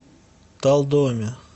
талдоме